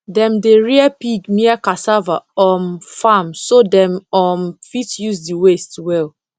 dem dey rear pig near cassava um farm so dem um fit use the waste well